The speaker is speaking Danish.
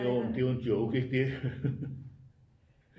Jo men det var en joke ikke det